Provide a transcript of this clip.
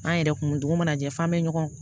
An yɛrɛ kun dugu mana jɛ f'an bɛ ɲɔgɔn